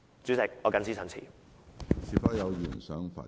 主席，我謹此陳辭。